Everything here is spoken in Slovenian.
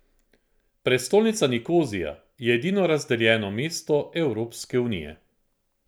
Prestolnica Nikozija je edino razdeljeno mesto Evropske unije.